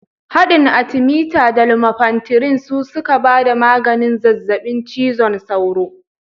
Haɗin atimita da lumefantirin su suka ba da maganin zazzaɓin cizon sauro